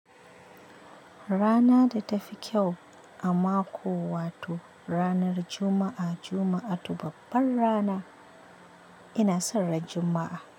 Rana datafi kyau a mako wato ranar Juma'a, Juma'atu babbar rana. Ina son ran Juma'a.